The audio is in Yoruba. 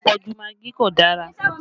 Àpọ̀jù magí kò dára